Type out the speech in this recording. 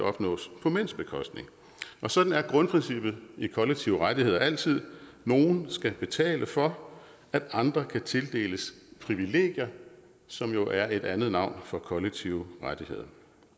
opnås på mænds bekostning og sådan er grundprincippet i kollektive rettigheder altid nogle skal betale for at andre kan tildeles privilegier som jo er et andet navn for kollektive rettigheder